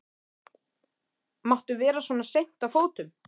Máttu vera svona seint á fótum?